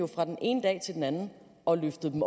fra den ene dag til den anden og løftede dem